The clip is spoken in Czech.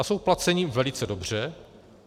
A jsou placeni velice dobře.